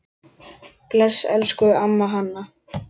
Bless, elsku amma Hanna.